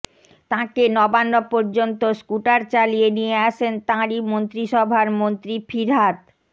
তাঁকে নবান্ন পর্যন্ত স্কুটার চালিয়ে নিয়ে আসেন তাঁরই মন্ত্রিসভার মন্ত্রী ফিরহাদ